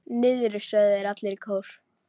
Niðri, sögðu þeir allir í kór.